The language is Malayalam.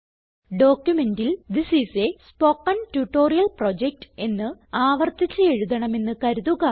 ഡോക്യുമെന്റിൽ this is a spoken tutorial project എന്ന് ആവർത്തിച്ച് എഴുതണമെന്ന് കരുതുക